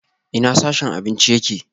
Ina sashen abinci yake?